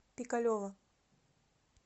пикалево